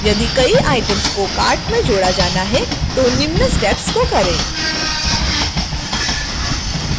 यदि कई items को cart में जोड़ा जाना है तो निम्न steps को करें